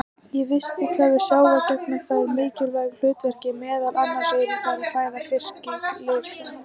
Í vistkerfi sjávar gegna þær mikilvægu hlutverki, meðal annars eru þær fæða fiskilirfa.